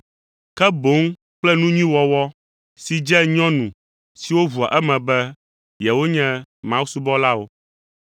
ke boŋ kple nu nyui wɔwɔ si dze nyɔnu siwo ʋua eme be yewonye mawusubɔlawo.